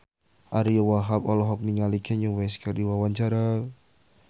Ariyo Wahab olohok ningali Kanye West keur diwawancara